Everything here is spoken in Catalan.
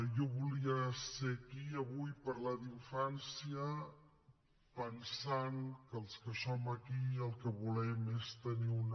jo volia ser aquí avui i parlar d’infància pensant que els que som aquí el que volem és tenir una